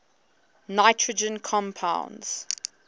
nitrogen compounds